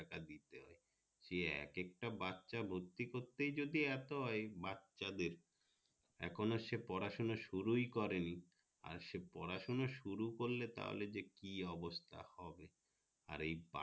সে এক এক তা বাছা ভর্তি করতে ই যদি এত এই বাছা দের এখনো সে পড়া সোনা শুরুই করেনি আর সে পড়া সোনা শুরু করলে যে যা হবে আর এই পা